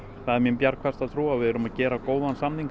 það er mín bjargfasta trú að við erum að gera góðan samning